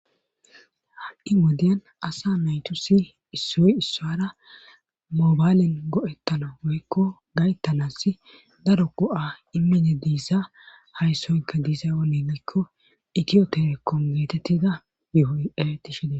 ha7i modeyan asa naytu si issoy issara moobaylen go7ettano woykko gayttanaas daro ko7a immine diissa hayssoykka diisay onelekko itiyotere kongeetettida yuhoy eretishedee